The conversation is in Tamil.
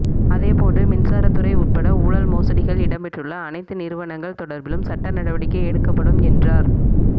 அதேபோன்று மின்சாரத்துறை உட்பட ஊழல் மோசடிகள் இடம்பெற்றுள்ள அனைத்து நிறுவனங்கள் தொடர்பிலும் சட்ட நடவடிக்கை எடுக்கப்படும் என்றார்